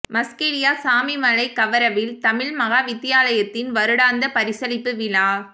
மஸ்கெலியா சாமிமலை கவரவில் தமிழ் மகா வித்தியாலயத்தின் வருடாந்த பரிசளிப்பு விழா